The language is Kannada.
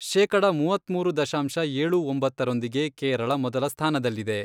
ಶೇಕಡ ಮೂವತ್ಮೂರು ದಶಾಂಶ ಏಳು ಒಂಬತ್ತರೊಂದಿಗೆ ಕೇರಳ ಮೊದಲ ಸ್ಥಾನದಲ್ಲಿದೆ.